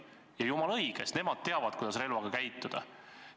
Ja jumala õige, sest nemad teavad, kuidas relvaga käituda.